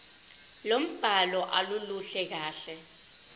lombhalo aluluhle kahle